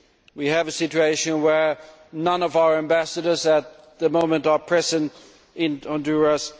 We have a situation where none of our ambassadors at the moment are present in Honduras.